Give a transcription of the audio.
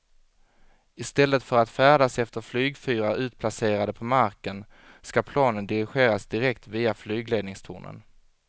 I stället för att färdas efter flygfyrar utplacerade på marken ska planen dirigeras direkt via flygledningstornen.